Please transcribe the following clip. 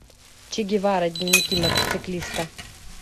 че гевара дневники мотоциклиста